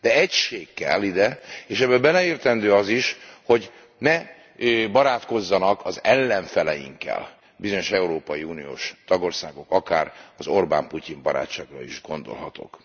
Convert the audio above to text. De egység kell ide, és ebbe beleértendő az is, hogy ne barátkozzanak az ellenfeleinkkel bizonyos európai uniós tagországok itt akár az Orbán Putyin barátságra is gondolhatok.